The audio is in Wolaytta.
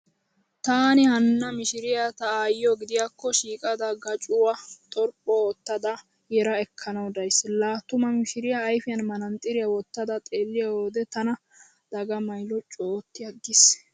Taani hanna mishiriya ta aayyiyo gidiyaakko shiiqada gacuwaa xorphpho oottada yera ekkanawu days. La tuma mishiriya ayfiyan manaaxiriyaa wottada xeelliyo wode tana dagamay loccu ootti aggiis.